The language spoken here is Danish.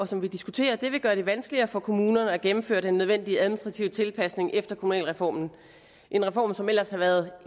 som vi diskuterer vil gøre det vanskeligere for kommunerne at gennemføre den nødvendige administrative tilpasning efter kommunalreformen en reform som ellers har været